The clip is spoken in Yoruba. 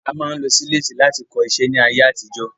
A máa ń lo sílètì láti kọ iṣẹ́ ní ayé àtijó.